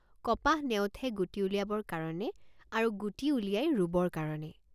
কপাহ নেওঠে গুটি উলিয়াবৰ কাৰণে আৰু গুটি উলিয়ায় ৰুবৰ কাৰণে।